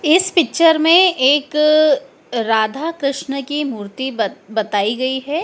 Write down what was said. इस पिक्चर में एक राधा कृष्ण की मूर्ति बत बताई गई है।